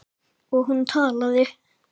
Og hún talaði.